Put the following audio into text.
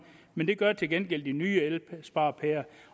men det gør til gengæld de nye elsparepærer